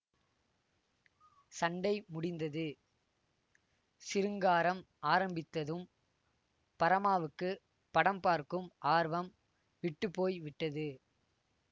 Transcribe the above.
சண்டை முடிந்தது சிருங்காரம் ஆரம்பித்ததும் பரமாவுக்கு படம் பார்க்கும் ஆர்வம் விட்டு போய் விட்டது